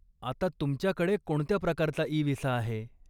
आता तुमच्याकडे कोणत्या प्रकारचा इ विसा आहे?